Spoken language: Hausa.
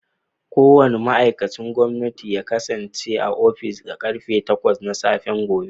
Kowane ma'aikacin gwamnati ya kasance a ofis da karfe takwas na safe gobe